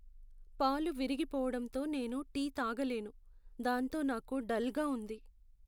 పాలు విరిగిపోవడంతో నేను టీ తాగలేను, దాంతో నాకు డల్గా ఉంది.